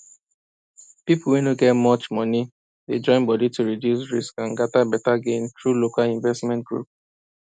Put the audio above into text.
people wey no get much money dey join body to reduce risk and get better gain through local investment group